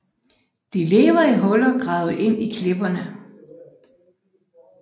De lever i huler gravet ind i klipperne